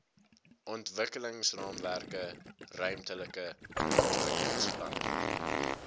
ontwikkelingsraamwerke ruimtelike ontwikkelingsplanne